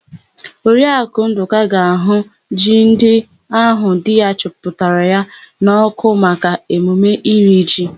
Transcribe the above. Oriakụ Ndụka ga-àhụ́ ji ndị áhụ̀ di ya chịpụtara n'ọ́kụ́ maka emume iri ji.